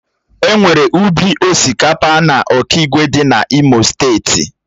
Enwere ubi osikapa na okigwe dị na imo steeti.